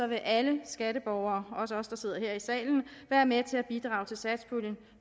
vil alle skatteborgere også os der sidder her i salen være med til at bidrage til satspuljen